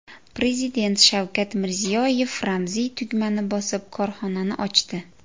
Prezident Shavkat Mirziyoyev ramziy tugmani bosib, korxonani ochdi.